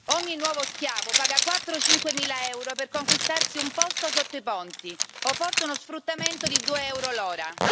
Ogni nuovo schiavo paga quattro, cinquemila euro per conquistarsi un posto sotto i ponti o forse uno sfruttamento di due euro l'ora.